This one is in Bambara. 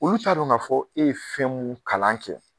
Olu ta don k'a fɔ e ye fɛn mu kalan kɛ.